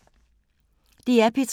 DR P3